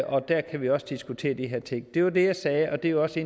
og der kan vi også diskutere de her ting det var det jeg sagde og det er også